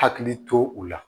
Hakili to u la